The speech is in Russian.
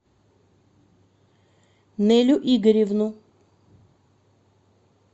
нелю игоревну